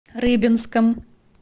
рыбинском